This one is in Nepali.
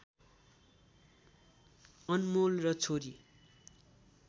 अनमोल र छोरी